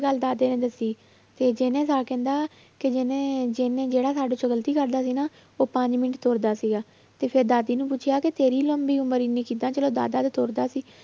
ਗੱਲ ਦਾਦੇ ਨੇ ਦੱਸੀ, ਤੇ ਜਿਹਨੇ ਤਾਂ ਕਹਿੰਦਾ ਕਿ ਜਿਹਨੇ ਜਿਹਨੇ ਜਿਹੜਾ ਸਾਡੇ ਚੋਂ ਗ਼ਲਤੀ ਕਰਦਾ ਸੀ ਨਾ ਉਹ ਪੰਜ ਮਿੰਟ ਤੁਰਦਾ ਸੀਗਾ, ਤੇ ਫਿਰ ਦਾਦੀ ਨੂੰ ਪੁੱਛਿਆ ਕਿ ਤੇਰੀ ਲੰਮੀ ਉਮਰ ਇੰਨੀ ਕਿੱਦਾਂ ਚਲੋ ਦਾਦਾ ਤੇ ਤੁਰਦਾ ਸੀ